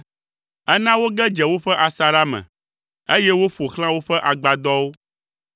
Ena woge dze woƒe asaɖa me, eye woƒo xlã woƒe agbadɔwo.